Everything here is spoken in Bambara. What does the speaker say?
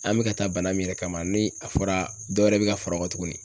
An be ka taa bana min yɛrɛ kama ,ni a fɔra dɔwɛrɛ be ka faro kan tuguni